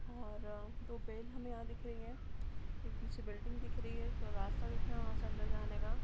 और आ दो बैल हमें यहाँ दिख रही है एक पीछे बिल्डिंग दिख रही है और रास्ता दिख रहा है वहाँ से अंदर जाने का |